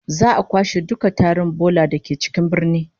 Za'a kwashe dukkan tarin bola da ke cikin birnin